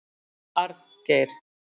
Arngeir